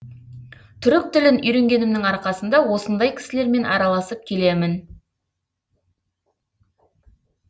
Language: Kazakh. түрік тілін үйренгенімнің арқасында осындай кісілермен араласып келемін